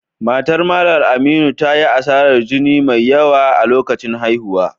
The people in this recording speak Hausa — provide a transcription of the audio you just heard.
Matar Mallam Aminu ta yi asarar jini mai yawa a lokacin haihuwa